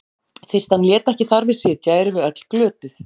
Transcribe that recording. Fyrst hann lét ekki þar við sitja erum við öll glötuð.